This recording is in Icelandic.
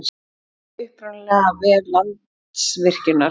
Mynd upprunalega af vef Landsvirkjunar.